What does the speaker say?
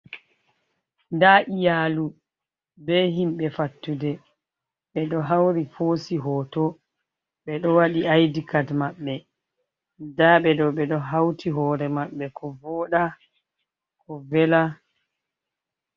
Nda iyaalu, be himɓe fattude. Ɓe ɗo hauri hoosi hoto, ɓe ɗo waɗi ID card maɓɓe. Nda ɓeɗo, ɓe ɗo hauti hoore maɓɓe ko vooda ko vela.